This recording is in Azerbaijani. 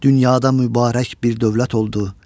dünyada mübarək bir dövlət oldu.